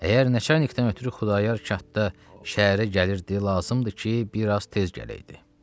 Əgər nəçarnikdən ötrü Xudayar kənddə şəhərə gəlirdi, lazımdır ki, bir az tez gələydi.